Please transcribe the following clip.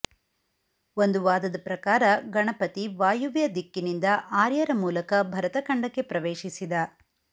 ಒಂದು ವಾದದ ಪ್ರಕಾರ ಗಣಪತಿ ವಾಯುವ್ಯ ದಿಕ್ಕಿನಿಂದ ಆರ್ಯರ ಮೂಲಕ ಭರತ ಖಂಡಕ್ಕೆ ಪ್ರವೇಶಿಸಿದ